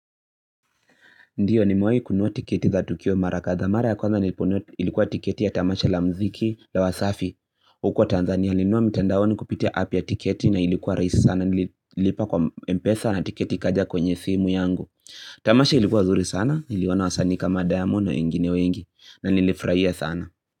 Ndiyo nimewai kununua tiketi za Tukio Mara kadhaa. Mara ya kwanza niliponunua ilikuwa tiketi ya Tamasha la mziki la wasafi. Huko Tanzania nilinunua mtandaoni kupitia app ya tiketi na ilikuwa rahisi sana nililipa kwa M-Pesa na tiketi ikaja kwenye simu yangu. Tamasha ilikuwa nzuri sana, niliona wasanii kama Diamond na wengine wengi na nilifurahia sana.